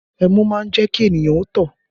Ẹmu má ń jẹ́ kí ènìyàn ó tọ̀